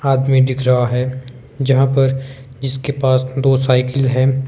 आदमी दिख रहा है जहां पर जिसके पास दो साइकल है।